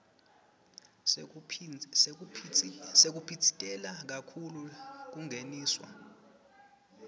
sekuphitsitela kakhulu kungeniswa